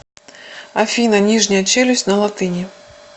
афина нижняя челюсть на латыни